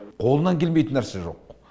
қолынан келмейтін нәрсе жоқ